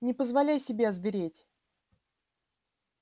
не позволяй себе озвереть